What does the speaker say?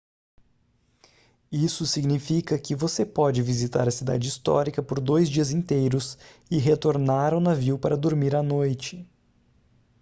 isso significa que você pode visitar a cidade histórica por dois dias inteiros e retornar ao navio para dormir à noite